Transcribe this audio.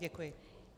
Děkuji.